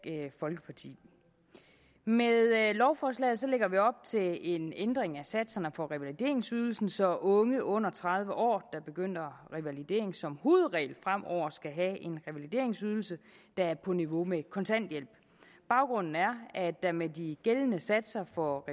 folkeparti med lovforslaget lægger vi op til en ændring af satserne for revalideringsydelsen så unge under tredive år der begynder revalidering som hovedregel fremover skal have en revalideringsydelse der er på niveau med kontanthjælp baggrunden er at der med de gældende satser for